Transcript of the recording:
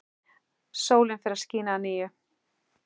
Sólin fór að skína að nýju.